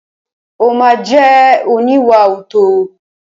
Ó ma jẹ́ oníwàòótọ́.